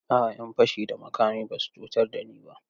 A'a, 'yan fashi da makami ba su cutar da ni ba.